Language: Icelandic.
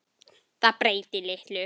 Það breyti litlu.